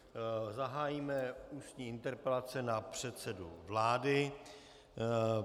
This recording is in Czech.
Zahájíme ústní interpelace na předsedu vlády.